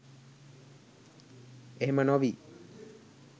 එහෙම නොවී